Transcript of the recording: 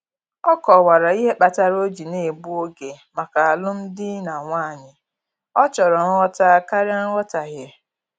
Ọ kọwara ihe kpatara o ji na-egbu oge maka alụm di na nwanyị, ọ chọrọ nghọta karịa nghọtahie